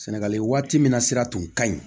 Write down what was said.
Sɛnɛgali waati min na sira tun ka ɲi